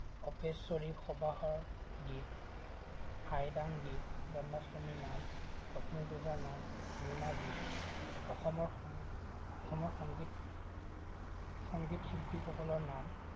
অপেশ্বৰী সবাহৰ গীত, হাইৰাং গীত, জন্মাষ্টমী নাম, লক্ষ্মীপুজাৰ নাম, লুনা গীত, অসমৰ সং অসমৰ সংগীত, সংগীত শিল্পীসকলৰ নাম